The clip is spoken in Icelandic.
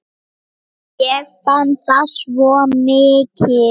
Ég fann það svo mikið.